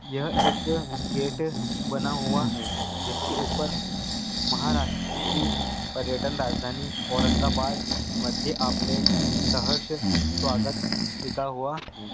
यह एक गेट बना हुआ है जिसके उपर महारास्त्री पर्यटन राजधानी औरंगाबाद मधये आपले सहष स्वागत लिखा हुआ है।